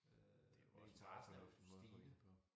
Øh interessen er stigende